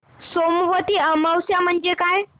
सोमवती अमावस्या म्हणजे काय